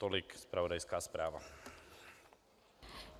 Tolik zpravodajská zpráva.